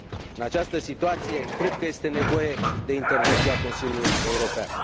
În această situație, cred că este nevoie de intervenția Consiliului European.